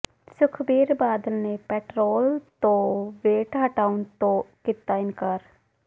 ਸੁਖਬੀਰ ਬਾਦਲ ਨੇ ਪੈਟਰੌਲ ਤੋਂ ਵੈਟ ਹਟਾਉਣ ਤੋਂ ਕੀਤਾ ਇਨਕਾਰ